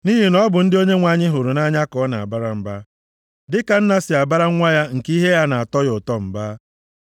Nʼihi na ọ bụ ndị Onyenwe anyị hụrụ nʼanya ka ọ na-abara mba, dịka nna si abara nwa ya nke ihe ya na-atọ ya ụtọ mba.